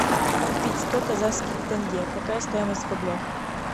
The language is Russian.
купить сто казахских тенге какая стоимость в рублях